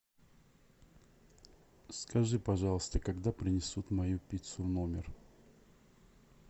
скажи пожалуйста когда принесут мою пиццу в номер